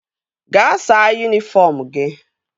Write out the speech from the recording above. Gaa saa yunifọm gị!